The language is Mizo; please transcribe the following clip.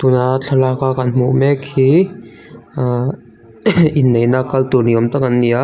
tuna thlalak a kan hmuh mek hi ah inneihna a kal tur ni awm tak an ni a.